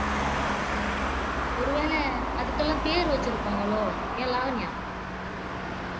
ஒருவேளை அதுக்கெல்லாம் பேர் வச்சிருப்பாங்களோ ஏன் லாவண்யா